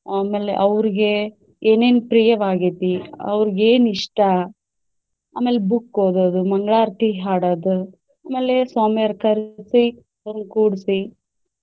ಆಮೇಲೆ ಅವ್ರಿಗೆ ಏನೇನ್ ಪ್ರಿಯವಾಗೆತಿ, ಅವ್ರಿಗೇನಿಷ್ಟ ಆಮೇಲೆ book ಓದೋದು ಮಂಗಳಾರ್ತಿ ಹಾಡೋದು, ಆಮೇಲೆ ಸ್ವಾಮಿಯರ್ ಕರ್ಸಿ ತಂದ್ ಕೂರ್ಸಿ.